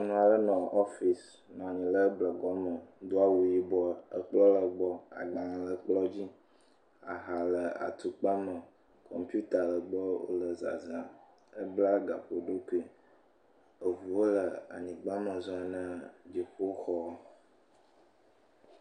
Nyɔnu aɖe nɔ ɔfis ,nɔ nyi ɖe dɔ gɔme do awu yibɔ. Ekplɔ̃ le gbɔ, agbalẽ le ekplɔ̃ dzi. Aha le atukpa me , kɔmpita le gbɔ wòle zazãm. Ebla gaƒoɖokui. Eʋuwo le anyigba me zɔm na dziƒoxɔa.